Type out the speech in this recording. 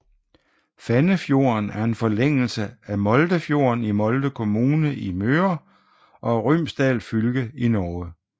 Fannefjorden er en forlængelse af Moldefjorden i Molde kommune i Møre og Romsdal fylke i Norge